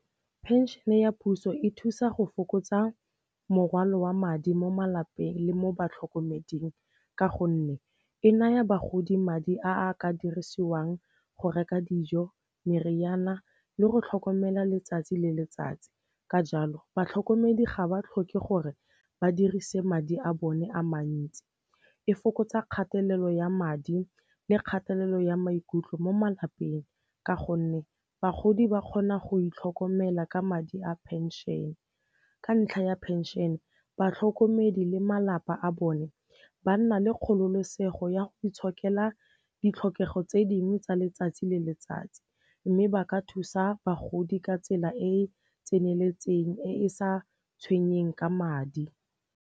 Phenšene ya puso e thusa go fokotsa morwalo wa madi mo malapeng le mo batlhokomeding ka gonne e naya bagodi madi a a ka dirisiwang go reka dijo, meriana le go tlhokomela letsatsi le letsatsi. Ka jalo, batlhokomedi ga ba tlhoke gore ba dirise madi a bone a mantsi. E fokotsa kgatelelo ya madi le kgatelelo ya maikutlo mo malapeng ka gonne bagodi ba kgona go itlhokomela ka madi a phenšene. Ka ntlha ya phenšene, batlhokomedi le malapa a bone ba nna le kgololosego ya go itshokela ditlhokego tse dingwe tsa letsatsi le letsatsi, mme ba ka thusa bagodi ka tsela e e tseneletseng e e sa tshwenyeng ka madi.